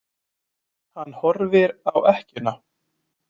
Hann horfir á ekkjuna.